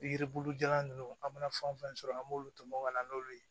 Yiribulu jalan ninnu an mana fɛn fɛn sɔrɔ an b'olu tɔmɔ ka na n'olu ye